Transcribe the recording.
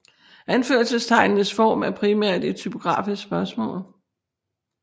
Anførselstegnenes form er primært et typografisk spørgsmål